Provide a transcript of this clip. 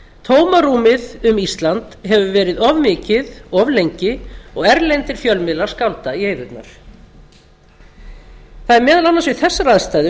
tómarúmið um ísland hefur verið of mikið of lengi og erlendir fjölmiðlar skálda í eyðurnar það er meðal annars við þessar aðstæður